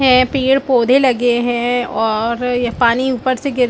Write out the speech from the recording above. है पेड़ - पौधे लगे है और पानी ऊपर से गिर --